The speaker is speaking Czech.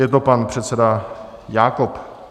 Je to pan předseda Jákob .